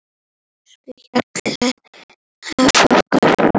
Elsku Hjalli afi okkar.